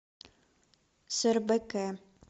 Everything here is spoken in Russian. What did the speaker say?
сэрбэкэ